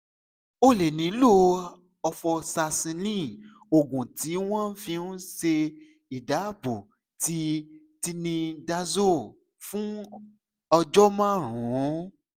o lè nílò ofoxacilin oògùn tí wọ́n fi ń ń ṣe ìdàpọ̀ ti tinidazole fún ọjọ́ márùn-ún